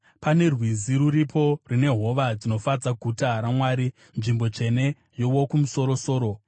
Pane rwizi rwuripo rune hova dzinofadza guta raMwari, nzvimbo tsvene yeWokumusoro-soro.